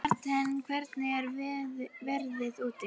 Marthen, hvernig er veðrið úti?